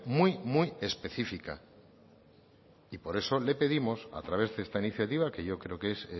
muy muy específica y por eso le pedimos a través de esta iniciativa que yo creo que es